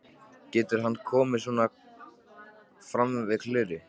Getur hann komið svona fram við Klöru?